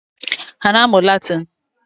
Ha ana-amụ Latịnị?